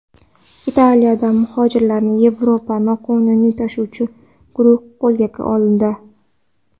Italiyada muhojirlarni Yevropaga noqonuniy tashuvchi guruh qo‘lga olindi.